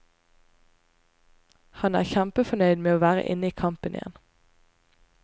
Han er kjempefornøyd med å være inne i kampen igjen.